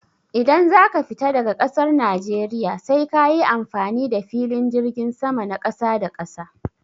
Idan zaka fita daga ƙasar najeriya sai kayi amfani da filin jirgin sama na ƙasa da ƙasa.